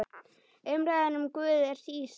Umræðan um Guð er sístæð.